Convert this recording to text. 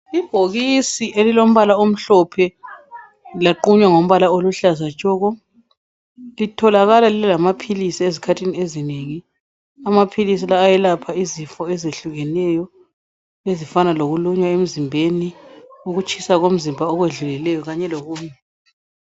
Ibhokisi elilombala omhlophe laqunywa ngombala oluhlaza tshoko litholakala lilamaphilisi ezikhathini ezinengi. Amaphilisi la ayelapha izifo ezehlukeneyo ezifana lokulunywa emzimbeni, ukutshisa komzimba okwedlulileyo kanye lokunye.